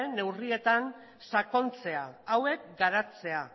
neurrietan sakontzea hauek garatzea